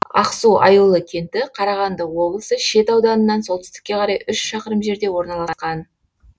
ақсу аюлы кенті қарағанды облысы шет ауданынан солтүстікке қарай үш шақырым жерде орналасқан